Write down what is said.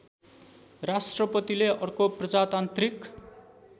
राष्ट्रपतिले अर्को प्रजातान्त्रिक